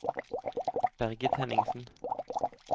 Bergit Henningsen